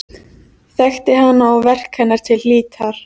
Þekkti hana og verk hennar til hlítar.